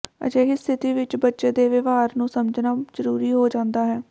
ਅਜਿਹੀ ਸਥਿਤੀ ਵਿਚ ਬੱਚੇ ਦੇ ਵਿਵਹਾਰ ਨੂੰ ਸਮਝਣਾ ਜ਼ਰੂਰੀ ਹੋ ਜਾਂਦਾ ਹੈ